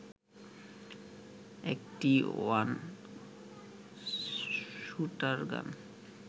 ১টি one shooter gun